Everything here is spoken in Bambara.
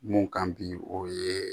Mun kan bi o ye